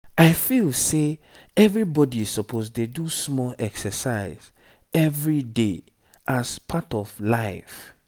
i feel say everybody suppose dey do small exercise everyday as part of life.